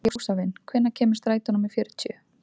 Jósavin, hvenær kemur strætó númer fjörutíu?